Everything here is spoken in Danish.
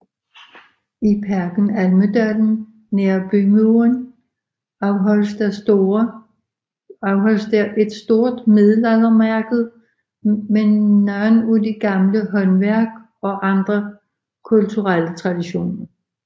I Parken Almedalen nær bymuren afholdes der et stort middelaldermarked med nogle af de gamle håndværk og andre kulturelle traditioner